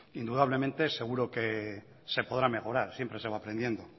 indudablemente seguro se podrá mejorar siempre se va aprendiendo